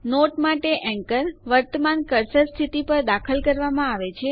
not માટે anchor લંગર વર્તમાન કર્સર સ્થિતિ પર દાખલ કરવામાં આવે છે